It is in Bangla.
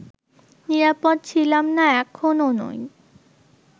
নিরাপদ ছিলাম না, এখনও নই